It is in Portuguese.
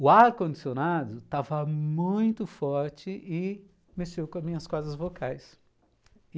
O ar-condicionado estava muito forte e mexeu com as minhas cordas vocais e